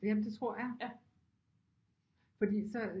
Jamen det tror jeg fordi så